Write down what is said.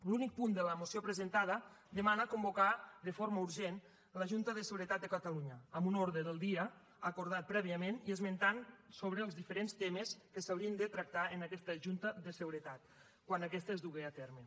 l’únic punt de la moció presentada demana convocar de forma urgent la junta de seguretat de catalunya amb un ordre del dia acordat prèviament i esmenta els diferents temes que s’haurien de tractar en aquesta junta de seguretat quan aquesta es dugui a terme